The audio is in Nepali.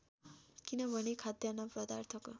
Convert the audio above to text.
किनभने खाद्यान्न पदार्थको